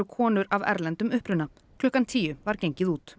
konur af erlendum uppruna klukkan tíu var gengið út